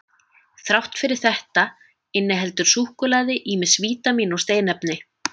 Þrátt fyrir þetta inniheldur súkkulaði ýmis vítamín og steinefni.